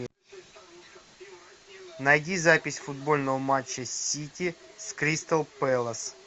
найди запись футбольного матча сити с кристал пэлас